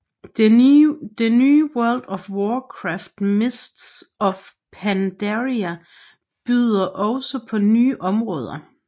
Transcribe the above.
Det nye World of Warcraft Mists of Pandaria byder også på nye områder